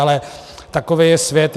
Ale takový je svět.